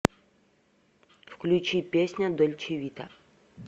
включи песня дольче вита